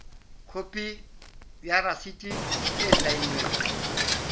khopi ya rasiti e saennweng